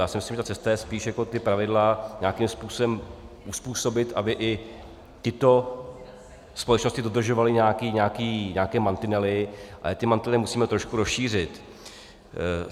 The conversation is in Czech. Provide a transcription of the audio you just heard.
Já si myslím, že ta cesta je spíš, jak ta pravidla nějakým způsobem uzpůsobit, aby i tyto společnosti dodržovaly nějaké mantinely, ale ty mantinely musíme trošku rozšířit.